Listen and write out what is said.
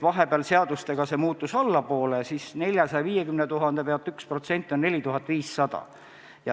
Vahepeal muudeti see seadusega väiksemaks, 450 000 euro peale, millest 1% on 4500.